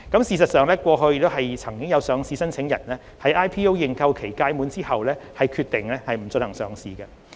事實上，過去亦曾有上市申請人在 IPO 認購期屆滿後決定不進行上市。